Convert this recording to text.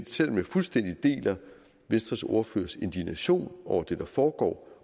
selv om jeg fuldstændig deler venstres ordførers indignation over det der foregår